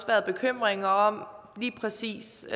været bekymringer om lige præcis